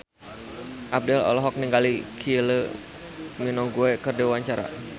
Abdel olohok ningali Kylie Minogue keur diwawancara